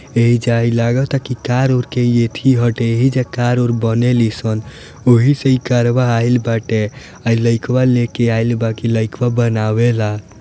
एजा लागता की कार वार के एथी है एहिजा कार - वार बने लिसन वहीं से ही इ करवा आइल बाटे ले के आएल इ लइकवा ला बना वेला।